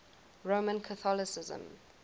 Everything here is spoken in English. roman catholicism